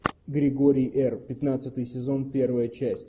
григорий р пятнадцатый сезон первая часть